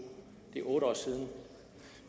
det er otte år siden